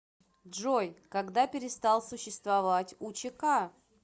джой когда перестал существовать учк